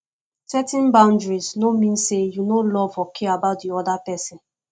setting boundaries no mean say you no love or care about di oda pesin